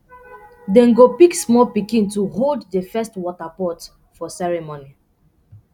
dem go pick small pikin to hold the first water pot for ceremony